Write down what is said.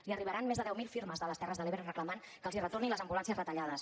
li arribaran més de deu mil firmes de les terres de l’ebre reclamant que els retorni les ambulàncies retallades